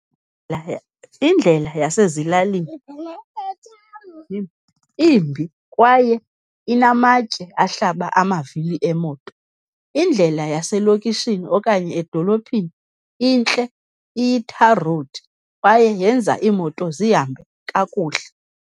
Indlela yasezilalini imbi kwaye inamatye ahlaba amavili emoto. Indlela yaselokishini okanye edolophini intle, iyi-tar road kwaye yenza iimoto zihambe kakuhle.